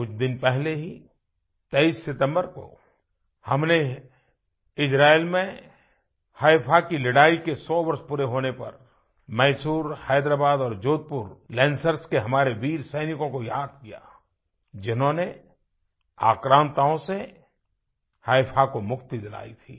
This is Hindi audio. कुछ दिन पहले ही 23 सितम्बर को हमने इस्राइल में हैफा की लड़ाई के सौ वर्ष पूरे होने पर मैसूर हैदराबाद और जोधपुर लांसर्स के हमारेवीर सैनिकों को याद किया जिन्होंने आक्रान्ताओं से हैफा को मुक्ति दिलाई थी